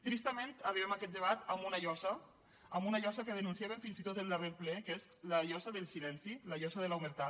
tristament arribem a aquest debat amb una llosa amb una llosa que denunciàvem fins i tot al darrer ple que és la llosa del silenci la llosa de l’omertà